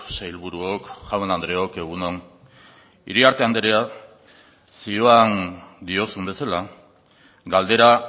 sailburuok jaun andreok egun on iriarte andrea zioan diozun bezala galdera